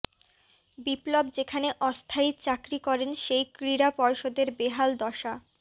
বিপ্লব যেখানে অস্থায়ী চাকরি করেন সেই ক্রীড়া পর্ষদের বেহাল দশা